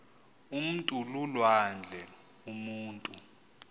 umntu lulwandle umutu